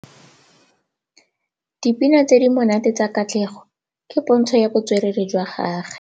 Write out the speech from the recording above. Dipina tse di monate tsa Katlego ke pôntshô ya botswerere jwa gagwe.